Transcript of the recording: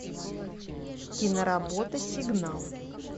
киноработа сигнал